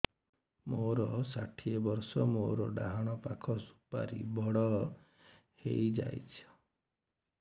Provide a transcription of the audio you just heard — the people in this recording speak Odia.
ମୋର ଷାଠିଏ ବର୍ଷ ମୋର ଡାହାଣ ପାଖ ସୁପାରୀ ବଡ ହୈ ଯାଇଛ